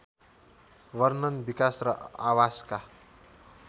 वर्णन विकास र आवासका